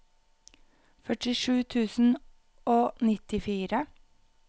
førtisju tusen og nittifire